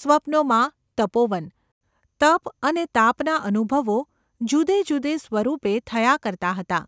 સ્વપ્નોમાં તપોવન, તપ અને તાપના અનુભવો જુદે જુદે સ્વપરૂપે થયાં કરતાં હતાં.